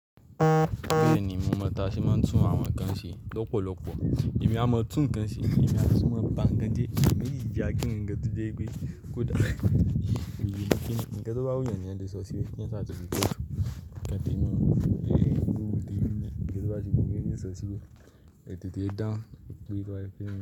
Bẹ́ẹ̀ni, mo mọ̀ táa ṣé máa ń tún àwọn ǹkan ṣe lọ́pọ̀lọpọ̀. Èmi a máa tún kan ṣe, èmi a tún máa ba ǹkan jẹ́, ìmín yaa gíran gan tó jẹ́ pé kò dà. Kíni ǹkan tó bá wù eyàn ni eẹ́yan lè sọ síbẹ̀ ní sáà tí kò kàn tèmi o. Ǹkan tó bá ti wùmí nii sọ̀ síbẹ̀, ètete dáhùn, gbìgbà ẹ fẹ́